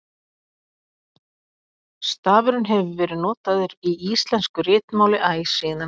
stafurinn hefur verið notaður í íslensku ritmáli æ síðan